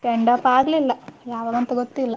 Send off ಆಗ್ಲಿಲ್ಲ ಯಾವಾಗ ಅಂತ ಗೊತ್ತಿಲ್ಲ.